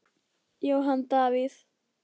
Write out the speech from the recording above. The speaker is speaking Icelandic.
Jóhann Davíð.